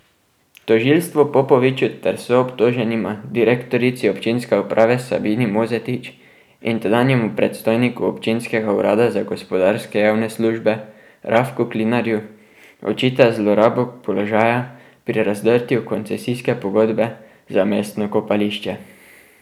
Tožilstvo Popoviču ter soobtoženima, direktorici občinske uprave Sabini Mozetič in tedanjemu predstojniku občinskega urada za gospodarske javne službe Rafku Klinarju, očita zlorabo položaja pri razdrtju koncesijske pogodbe za mestno kopališče.